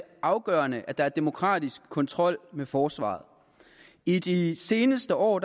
afgørende at der er demokratisk kontrol med forsvaret i de seneste år